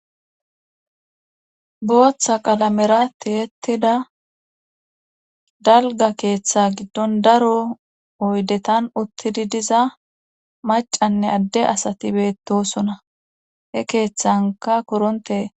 Booththa qalamerati hettida dalga keeththa giddon daro oydetan uttidi diza macanne adde asati beettosona he keeththanka koronte.